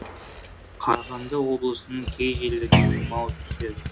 қарағанды облысының кей жерлерінде тұман түседі